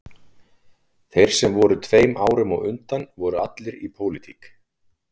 Þeir sem voru tveim árum á undan voru allir í pólitík